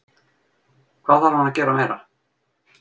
Hvað þarf hann að gera meira?